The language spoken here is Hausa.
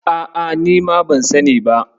A'a, nima ban sani ba.